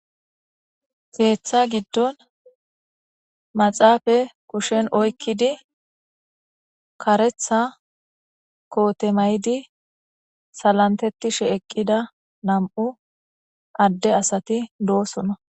seeththa giddon maxaafa kushen oykkidi karetha kootemaydi salantetishe eqqida nam7u adde asati doosona